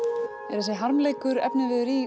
er þessi harmleikur efniviður í